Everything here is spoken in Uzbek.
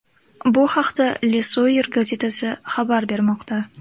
Bu haqda Le Soir gazetasi xabar bermoqda .